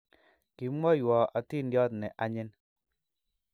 Kimwaiwo atindiyot ne anyin